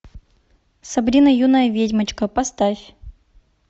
сабрина юная ведьмочка поставь